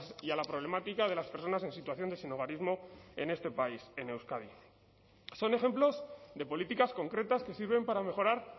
y a la problemática de las personas en situación de sinhogarismo en este país en euskadi son ejemplos de políticas concretas que sirven para mejorar